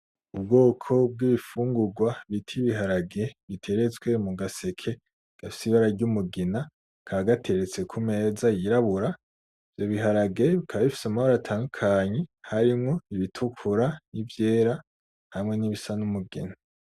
Ubwoko bw'ibifungurwa bita ibiharage biteretswe mu gaseke gafise ibara ry'umugina, kakaba gateretse ku meza y'irabura. Ivyo biharage bikaba bifise amabara atandukanye harimwo ibitukura n'ivyera hamwe n'ibisa n'umugina.